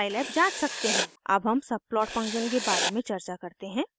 अब हम subplot function के बारे में चर्चा करते हैं